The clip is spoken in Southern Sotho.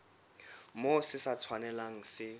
moo se sa tshwanelang se